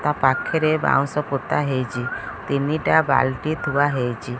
ତା ପାଖରେ ବାଉଁଶ ପୋତା ହେଇଚି ତିନିଟା ବାଲଟି ଥୁଆ ହେଇଚି।